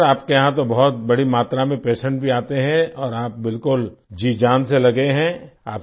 चलिए डॉक्टर आपके यहाँ तो बहुत बड़ी मात्रा में पेशेंट भी आते हैं और आप बिलकुल जीजान से लगे हैं